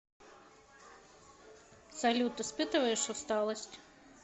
салют испытываешь усталость